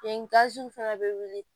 fɛnɛ bɛ wuli